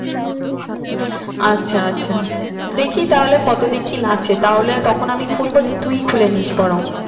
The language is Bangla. আচ্ছা আচ্ছা দেখি তাহলে কত দিন কি লাগছে তাহলে তখন আমি খুলবো দিয়ে তুই খুলেনিস বরং